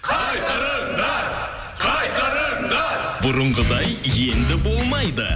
қайтарыңдар қайтарыңдар бұрынғыдай енді болмайды